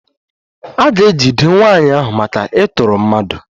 A ga-ejide nwaanyị ahụ maka ịtọrọ mmadụ